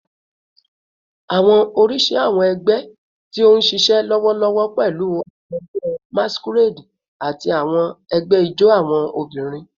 Awọn oriṣi awọn ẹgbẹ ti n ṣiṣẹ lọwọlọwọ pẹlu awọn ẹgbẹ masquerade ati awọn ẹgbẹ ijó awọn obinrin